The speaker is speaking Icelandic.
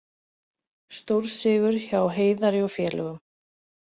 Stórsigur hjá Heiðari og félögum